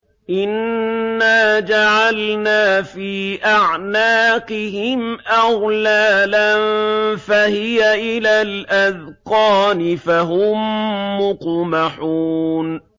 إِنَّا جَعَلْنَا فِي أَعْنَاقِهِمْ أَغْلَالًا فَهِيَ إِلَى الْأَذْقَانِ فَهُم مُّقْمَحُونَ